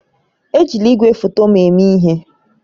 Ejila igwefoto m eme ihe!